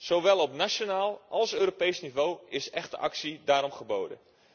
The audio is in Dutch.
Zowel op nationaal als op Europees niveau is echte actie daarom geboden.